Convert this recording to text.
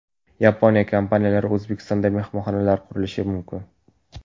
Yaponiya kompaniyalari O‘zbekistonda mehmonxonalar qurishi mumkin.